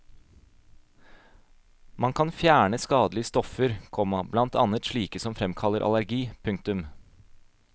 Man kan fjerne skadelige stoffer, komma blant annet slike som framkaller allergi. punktum